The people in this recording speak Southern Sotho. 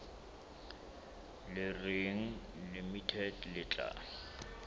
le reng limited le tla